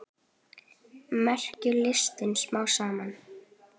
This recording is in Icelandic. Verkjum linnti smám saman.